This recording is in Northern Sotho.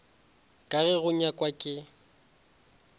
ka ge go nyakwa ke